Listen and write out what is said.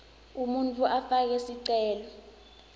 umuntfu afake sicelo